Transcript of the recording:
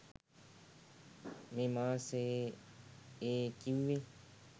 මේ මාසයේ ඒ කිව්වේ